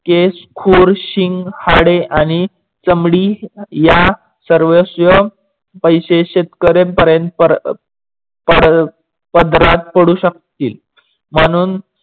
केस, खूर, शिंग, हाडे आणि चमडी या सर्वस्व पैसे शेतकरे पदरात पडू शकतील म्हणून